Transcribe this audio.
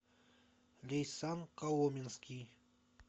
лейсан коломенский